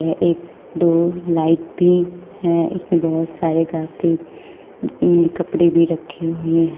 एक दो लाइट भी है इसमें बहुत सारे में कपड़े भी रखे हुए है।